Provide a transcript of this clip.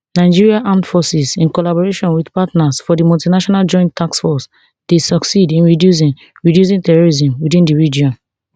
nigeria armed forces in collaboration wit partners for di multinational joint task force dey succeed in reducing reducing terrorism within di region